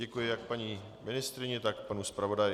Děkuji jak paní ministryni, tak panu zpravodaji.